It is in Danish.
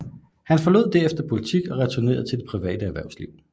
Han forlod derefter politik og returnerede til det private erhvervsliv